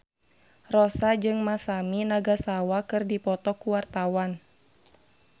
Rossa jeung Masami Nagasawa keur dipoto ku wartawan